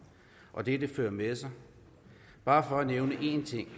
og det de fører med sig bare for at nævne én ting